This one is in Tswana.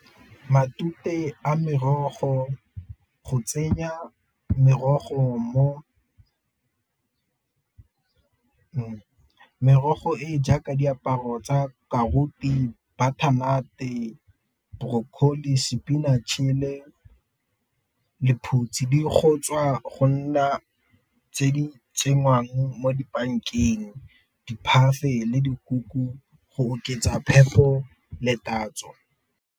Matute a merogo go tsenya merogo mo , merogo e e jaaka diaparo tsa butternut, brocolli, spinach-e le lephutsi di gotswa go nna tse di tsenngwang mo dibankeng di dikuku go oketsa phepho le tatso.